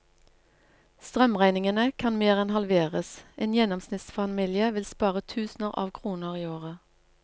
Strømregningene kan mer enn halveres, en gjennomsnittsfamilie vil spare tusener av kroner i året.